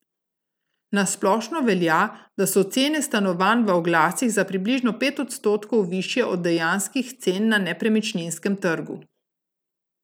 Na splošno velja, da so cene stanovanj v oglasih za približno pet odstotkov višje od dejanskih cen na nepremičninskem trgu.